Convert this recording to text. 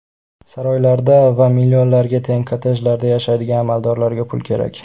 Saroylarda va millionlarga teng kottejlarda yashaydigan amaldorlarga pul kerak.